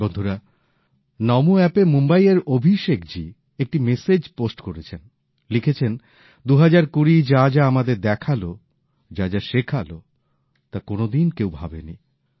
বন্ধুরা নমো অ্যাপে মুম্বাই এর অভিষেকজি একটি মেশেজ পোস্ট করেছেন লিখেছেন ২০২০ যা যা আমাদের দেখালো যা যা শেখালো তা কোনোদিন কেউ ভাবেনি